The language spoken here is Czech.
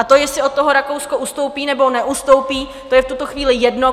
A to, jestli od toho Rakousko ustoupí nebo neustoupí, to je v tuto chvíli jedno.